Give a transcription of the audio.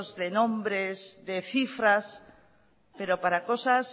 de nombres de cifras pero para cosas